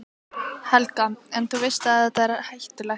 Helga: En, þú veist að þetta er hættulegt?